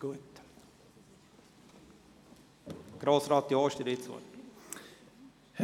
Gut, Grossrat Jost, Sie haben das Wort.